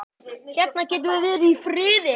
Hérna getum við verið í friði.